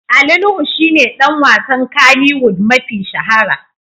Ali Nuhu shi ne ɗan wasan Kannywood mafi shahara.